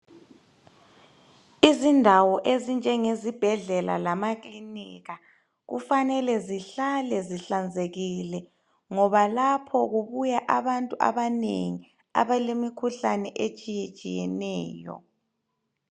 Izindawo ezinjenge zibhedlela lamakilinika kufanele zihlale zihlanzekile. Ngoba lapho kubuya abantu abanengi abale mikhuhlane etshiye tshiyeneyo.